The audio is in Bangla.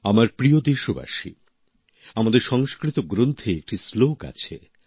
আমার প্রিয় দেশবাসী আমাদের সংস্কৃত গ্রন্থে একটি শ্লোক আছে